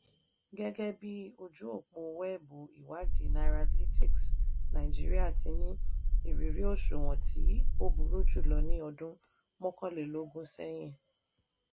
gẹ́gẹ́ bí ojú òpó wẹ́ẹ̀bù ìwádìí nairalytics nàìjíríà ti ní ìrírí òṣùwọ̀n tí tí ó burú jùlọ ní ọdún mọ́kànlélógún sẹ́yìn.